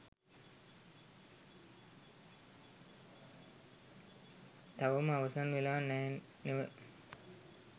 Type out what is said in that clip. තවම අවසන් වෙලා නැහැ නෙව